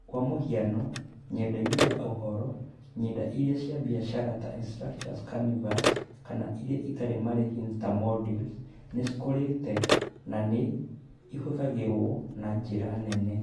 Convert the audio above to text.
Kwa mũhiano, ng’enda-inĩ ya ũhoro, ng’enda iria cia biacara ta Instructure's Canvas kana iria itarĩ marĩhi ta Moodle, nĩ cikũrĩte na nĩ ihũthagĩrũo na njĩra nene.